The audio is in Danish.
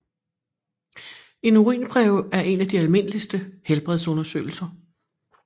En urinprøve er en af de almindeligste helbredsundersøgelser